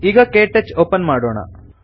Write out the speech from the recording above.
ಈಗ ಕೆಟಚ್ ಒಪನ್ ಮಾಡೋಣ